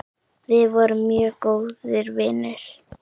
Við vorum mjög góðir vinir.